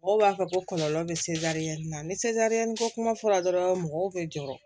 Mɔgɔw b'a fɔ ko kɔlɔlɔ bɛ na ni ko kuma fɔla dɔrɔn mɔgɔw bɛ jɔrɔ